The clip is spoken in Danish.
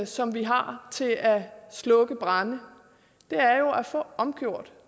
som vi har til at slukke brande med er jo at få omgjort